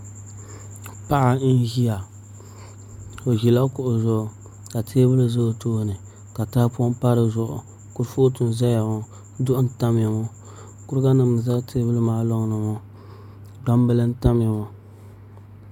Paɣa n ʒiya o ʒila kuɣu zuɣu ka teebuli ʒɛ o tooni ka tahapoŋ pa dizuɣu kurifooti n ʒɛya ŋo duɣu n tamya ŋo kuriga nim n ʒɛ teebuli maa loŋni maa gbambili n tamya ŋo